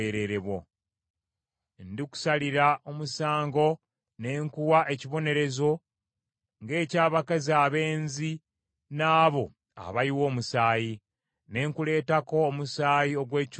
Ndikusalira omusango ne nkuwa ekibonerezo ng’eky’abakazi abenzi n’abo abayiwa omusaayi, ne nkuleetako omusaayi ogw’ekiruyi n’obuggya.